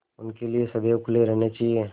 उनके लिए सदैव खुले रहने चाहिए